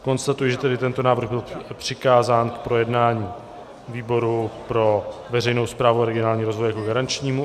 Konstatuji, že tedy tento návrh byl přikázán k projednání výboru pro veřejnou správu a regionální rozvoj jako garančnímu.